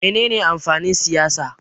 Me ne ne amfanin siyasa?